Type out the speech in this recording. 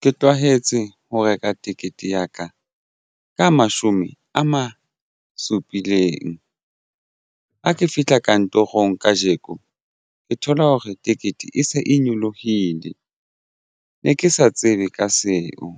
Ke tlwahetse ho reka ticket ya ka ka mashome a supileng ha ke fihla kantorong kajeko ke thola hore tekete e se e nyolohile ne ke sa tsebe ka seo